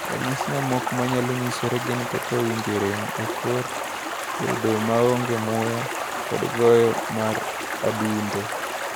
Ranyisi mamoko manyalo nyisore gin kaka winjo rem e kor, bedo maonge muya, kod goyo mar adundo.